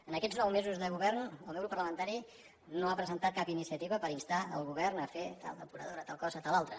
en aquests nou mesos de govern el meu grup parlamentari no ha presentat cap iniciativa per instar el govern a fer tal depuradora tal cosa tal altra